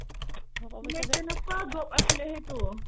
like কেনেকুৱা job আছিলে সেইটো